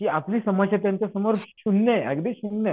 की आपली समस्याग्रस्त त्यांच्या समोर शून्य आहे अगदी शून्य आहे.